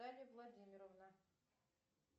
наталья владимировна